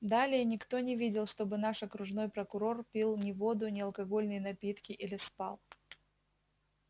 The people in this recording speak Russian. далее никто не видел чтобы наш окружной прокурор пил ни воду ни алкогольные напитки или спал